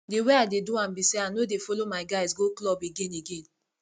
the way i dey do am be say i no dey follow my guys go club again again